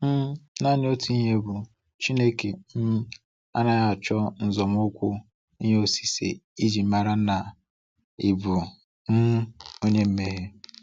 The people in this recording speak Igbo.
um Naanị otu ihe bụ, Chineke um anaghị acho nzomukwu ihe osise iji mara na ị bụ um onye mmehie.